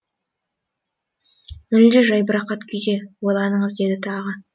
мүлде жайбарақат күйде ойланыңыз деді тағы